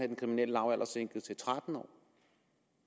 den kriminelle lavalder sænket til tretten år